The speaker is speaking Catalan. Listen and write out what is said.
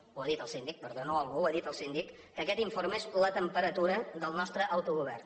ho ha dit el síndic perdó no algú ho ha dit el síndic que aquest informe és la temperatura del nostre autogovern